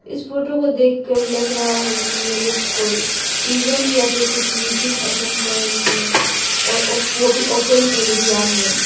इस फोटो को देखकर लग रहा है कि ये लोग कोई इवेंट या फिर कुछ मीटिंग अटेंड कर रहे हैं और वो भी ओपन एरिया में।